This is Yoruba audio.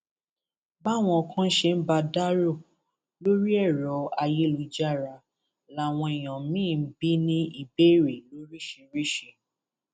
báwọn kan ṣe ń bá a dárò lórí ẹrọ ayélujára làwọn èèyàn miín ń bi í ní ìbéèrè lóríṣiríṣii